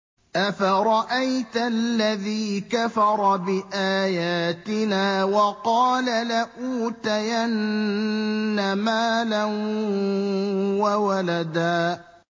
أَفَرَأَيْتَ الَّذِي كَفَرَ بِآيَاتِنَا وَقَالَ لَأُوتَيَنَّ مَالًا وَوَلَدًا